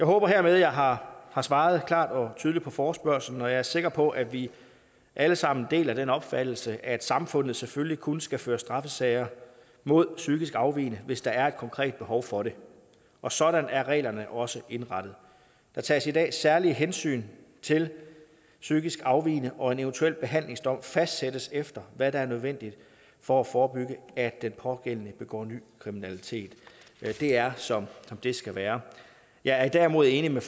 håber hermed at jeg har har svaret klart og tydeligt på forespørgslen og jeg er sikker på at vi alle sammen deler den opfattelse at samfundet selvfølgelig kun skal føre straffesager mod psykisk afvigende hvis der er et konkret behov for det og sådan er reglerne også indrettet der tages i dag særlige hensyn til psykisk afvigende og en eventuel behandlingsdom fastsættes efter hvad der er nødvendigt for at forebygge at den pågældende begår ny kriminalitet det er som det skal være jeg er derimod enig med